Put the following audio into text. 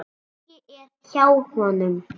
Raggi er hjá honum.